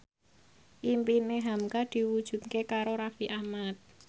impine hamka diwujudke karo Raffi Ahmad